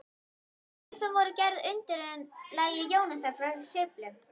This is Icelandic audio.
Kaupin voru gerð að undirlagi Jónasar frá Hriflu.